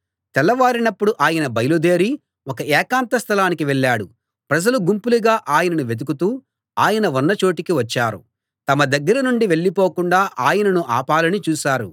తెల్లవారినప్పుడు ఆయన బయలుదేరి ఒక ఏకాంత స్థలానికి వెళ్ళాడు ప్రజలు గుంపులుగా ఆయనను వెదుకుతూ ఆయన ఉన్న చోటికి వచ్చారు తమ దగ్గర నుండి వెళ్ళిపోకుండా ఆయనను ఆపాలని చూశారు